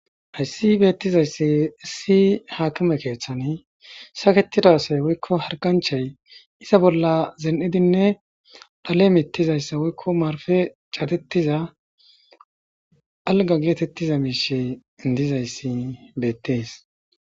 Hayssi beetizayssi issi haakime keeththan saketida asay woykko hargganchchay iza bolla zin'idinne dhale mittizayssa woykko marfe cadetiza alga geetettiza gishshi dizayssi beettes.